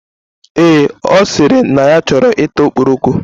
Yes, o siri na ya choro ita okporoko